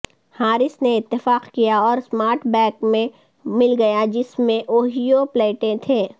horse نے اتفاق کیا اور اسمارٹ بیک میں مل گیا جس میں اوہیو پلیٹیں تھیں